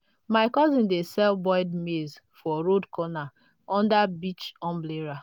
my cousin dey sell boiled maize for road corner under beach umbrella.